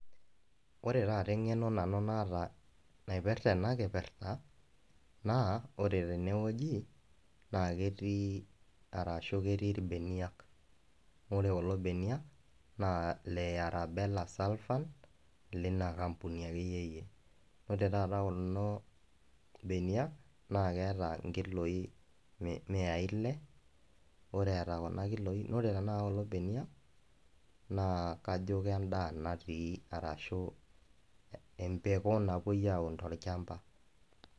Wore taata engeno nanu naata naipirta ena kipirta, naa wore tenewuoji naa ketii arashu ketii irbeniak. Wore kulo beniak naa Ile Yara Bela axan lina kampuni akeyieyie. Wore taata kulo beniak naa keeta inkiloi miyai ile, wore eeta kuna kiloi wore tenakata kulo beniak naa kajo kendaa natii arashu emboko napuoi aaun tolchamba.